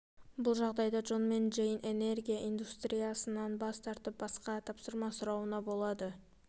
бұл жағдайда джон мен джейн энергия индустриясынан бас тартып басқа тапсырма сұрауына болады